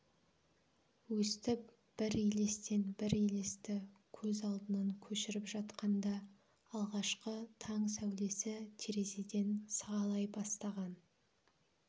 өстіп бір елестен бір елесті көз алдынан көшіріп жатқанда алғашқы таң сәулесі терезеден сығалай бастаған